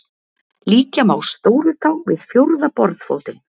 Líkja má stórutá við fjórða borðfótinn.